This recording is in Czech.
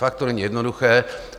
Fakt to není jednoduché.